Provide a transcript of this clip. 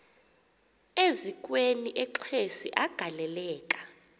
eziukweni exesi agaleleka